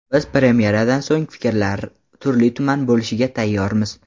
Biz premyeradan so‘ng fikrlar turli-tuman bo‘lishiga tayyormiz.